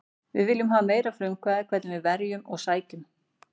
Við viljum hafa meira frumkvæði hvernig við verjum og sækjum.